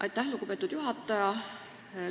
Aitäh, lugupeetud juhataja!